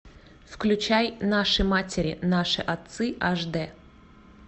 включай наши матери наши отцы аш д